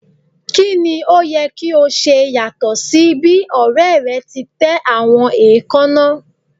Kini o yẹ ki o ṣe yatọ si bi ọrẹ rẹ ti tẹ awọn eekanna?